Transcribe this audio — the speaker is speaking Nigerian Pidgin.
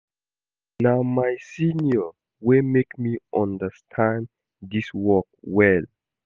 Na my senior wey make me understand dis work well